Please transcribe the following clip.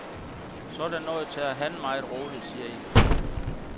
Sådan noget tager han meget roligt, siger en fra gruppen.